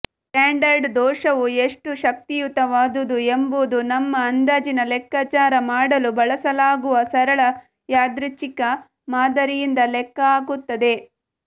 standard ದೋಷವು ಎಷ್ಟು ಶಕ್ತಿಯುತವಾದುದು ಎಂಬುದು ನಮ್ಮ ಅಂದಾಜಿನ ಲೆಕ್ಕಾಚಾರ ಮಾಡಲು ಬಳಸಲಾಗುವ ಸರಳ ಯಾದೃಚ್ಛಿಕ ಮಾದರಿಯಿಂದ ಲೆಕ್ಕಹಾಕುತ್ತದೆ